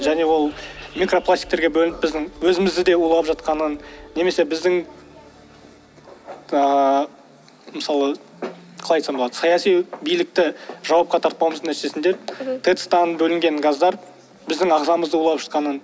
және ол микропластиктерге бөлініп біздің өзімізді де улап жатқанын немесе біздің ыыы мысалы қалай айтсам болады саяси билікті жауапқа тартпауымыздың нәтижесінде тэц тан бөлінген газдар біздің ағзамызды улап жатқанын